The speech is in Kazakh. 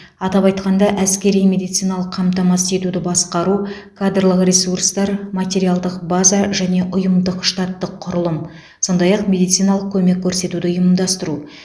атап айтқанда әскери медициналық қамтамасыз етуді басқару кадрлық ресурстар материалдық база және ұйымдық штаттық құрылым сондай ақ медициналық көмек көрсетуді ұйымдастыру